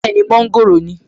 Bẹ́ẹ̀ni, mọ́ńgòrò ni